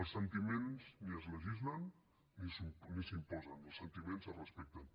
els sentiments ni es legislen ni s’imposen els sentiments es respecten